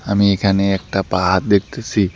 আমি এখানে একটা পাহাড় দেখতেসি।